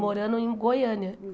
Morando em Goiânia.